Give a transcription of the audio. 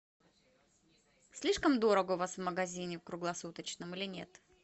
слишком дорого у вас в магазине круглосуточном или нет